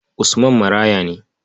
Usman maraya ne.